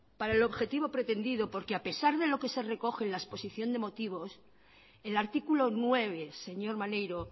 para el objetivo pretendido porque a pesar de lo que se recoge en la exposición de motivos el artículo nueve señor maneiro